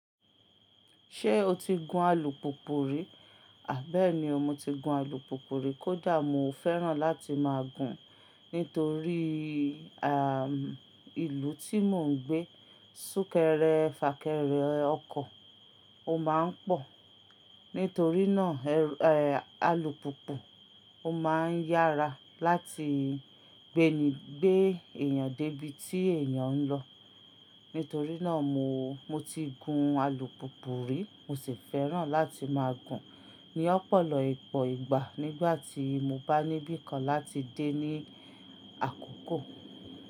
Ṣé o ti gun alùpùpù rí? Àbẹ́ẹ̀ni, mo ti gun alùpùpù rí. Kódà mo fẹ́ràn láti máa gun, nítorí à, ìlú tí mò ń gbé, súnkẹrẹ fàkẹrẹ ọkọ̀ ó máa ń pọ̀. Nítorí náà, ẹ, alùpùpù ó máa ń yára láti gbé èèyàn dé ibi tí èèyàn ń lọ. Nítorí náà mo, mo ti gun alùpùpù rí, mo sì fẹ́ràn láti máa gun ní ọ̀pọ̀lọpọ̀ ìgbà nígbà tí mo bá ní bí i kan láti dé ní àkókò.